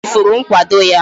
O chefuru nkwado ya